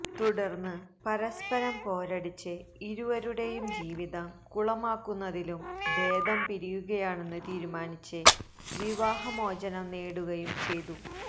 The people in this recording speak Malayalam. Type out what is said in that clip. തുടർന്ന് പരസ്പരം പോരടിച്ച് ഇരുവരുടെയും ജീവിതം കുളമാക്കുന്നതിലും ഭേദം പിരിയുകയാണെന്ന് തീരുമാനിച്ച് വിവാഹമോചനം നേടുകയും ചെയ